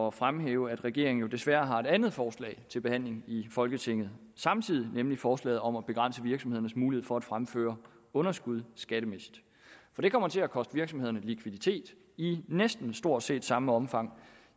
at fremhæve at regeringen jo desværre har et andet forslag til behandling i folketinget samtidig nemlig forslaget om at begrænse virksomhedernes mulighed for at fremføre underskud skattemæssigt det kommer til at koste virksomhederne likviditet i næsten stort set samme omfang